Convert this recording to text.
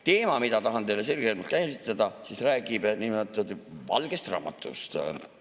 Teema, mida tahan selgemalt käsitleda, räägib niinimetatud valgest raamatust.